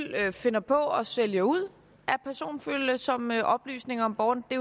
finder på at sælge ud af personfølsomme oplysninger om borgerne det